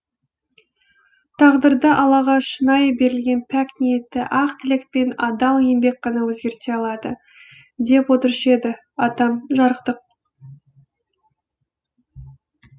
тағдырды аллаға шынайы берілген пәк ниетті ақ тілек пен адал еңбек ғана өзгерте алады деп отырушы еді атам жарықтық